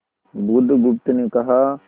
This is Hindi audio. बुधगुप्त ने कहा